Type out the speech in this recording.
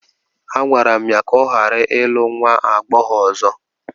A gwara m ya ka ọ ghara ịlụ nwa agbọghọ ọzọ!